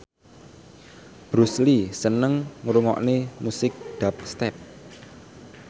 Bruce Lee seneng ngrungokne musik dubstep